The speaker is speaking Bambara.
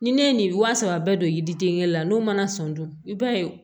Ni ne ye nin wa saba bɛɛ don yiriden kelen la n'o mana sɔn dun i b'a ye